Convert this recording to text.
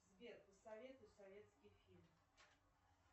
сбер посоветуй советский фильм